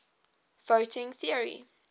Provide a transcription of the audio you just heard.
voting theory